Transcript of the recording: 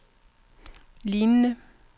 lignende